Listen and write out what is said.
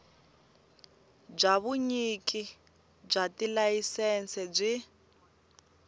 bya vunyiki bya tilayisense byi